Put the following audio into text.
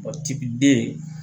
O tiki den